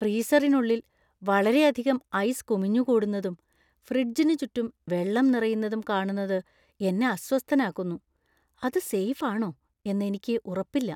ഫ്രീസറിനുള്ളിൽ വളരെയധികം ഐസ് കുമിഞ്ഞുകൂടുന്നതും ഫ്രിഡ്ജിന് ചുറ്റും വെള്ളം നിറയുന്നതും കാണുന്നത് എന്നെ അസ്വസ്ഥനാക്കുന്നു; അത് സേഫ് ആണോ എന്ന് എനിക്ക് ഉറപ്പില്ല.